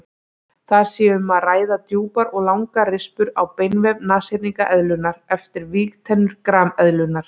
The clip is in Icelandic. Þar sé um að ræða djúpar og langar rispur á beinvef nashyrningseðlunnar eftir vígtennur grameðlunnar.